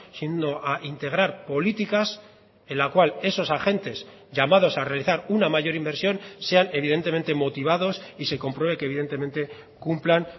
sino a integrar políticas en la cual esos agentes llamados a realizar una mayor inversión sean evidentemente motivados y se compruebe que evidentemente cumplan